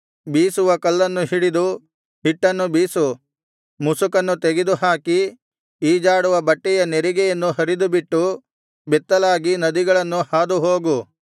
ಬೀಸುವ ಕಲ್ಲನ್ನು ಹಿಡಿದು ಹಿಟ್ಟನ್ನು ಬೀಸು ಮುಸುಕನ್ನು ತೆಗೆದುಹಾಕಿ ಈಜಾಡುವ ಬಟ್ಟೆಯ ನೆರಿಗೆಯನ್ನು ಹರಿದುಬಿಟ್ಟು ಬೆತ್ತಲಾಗಿ ನದಿಗಳನ್ನು ಹಾದುಹೋಗು